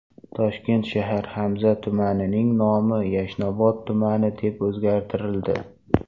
Toshkent shahar Hamza tumanining nomi Yashnobod tumani deb o‘zgartirildi.